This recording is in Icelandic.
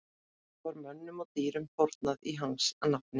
Í borginni Spörtu var mönnum og dýrum fórnað í hans nafni.